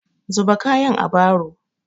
Zuba kayan a baro!